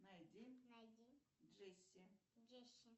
найди найди джесси джесси